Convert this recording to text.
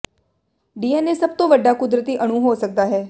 DNA ਸਭ ਤੋਂ ਵੱਡਾ ਕੁਦਰਤੀ ਅਣੂ ਹੋ ਸਕਦਾ ਹੈ